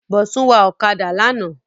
Bọ̀sún wa ọ̀kadà lánàá